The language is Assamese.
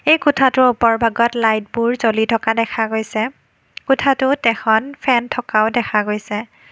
এই কোঠাটোৰ উপৰভাগত লাইটবোৰ জ্বলি থকা দেখা গৈছে কোঠাটোত এখন ফেন থকাও দেখা গৈছে।